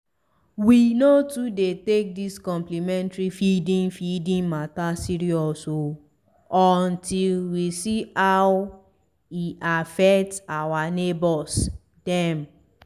we no too dey take dis complementary feeding feeding mata serious o until we see how e affect our neighbors dem.